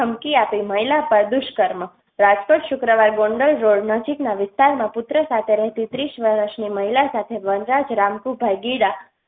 ધમકી આપી મહિલા પર દુષ્કર્મ. રાજકોટ શુક્રવાર ગોંડલ રોડ નજીકના વિસ્તારમાં પૂત્ર સાથે રેહતી ત્રીશ વરસની મહિલા સાથે વનરાજ રામકૂ ભગીરા